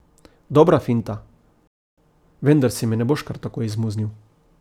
Dobra finta, vendar se mi ne boš kar tako izmuznil.